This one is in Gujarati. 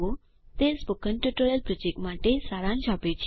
તે સ્પોકન ટ્યુટોરીયલ પ્રોજેક્ટ માટે સારાંશ આપે છે